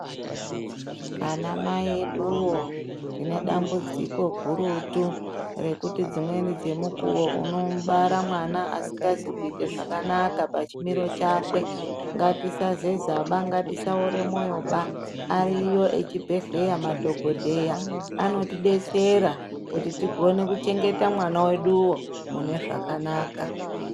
Anamai eduwo tine dambudziko gurutu rekuti nguwa dzimweni unomubara mwana wo asikazi kuita zvakanaka pachimiro chakwe. Ngatisazezaba, ngatisaoraba mwoyo baa. Ari echibhendleya madhokodheya anotidetsera kuti tikone kuchengeta mwana weduwo mune zvakanaka.